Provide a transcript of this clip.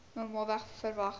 normaalweg verwag wou